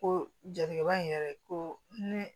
Ko jatigɛba in yɛrɛ ko ne